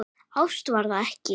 Ást var það ekki.